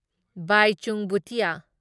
Bhaichung Bhutia